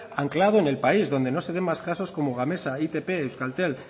anclado en el país donde no se den más casos como gamesa itp euskaltel